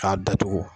K'a datugu